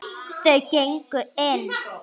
Þau gengu inn.